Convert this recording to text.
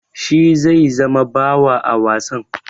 Shi zai zama bawa a wasan?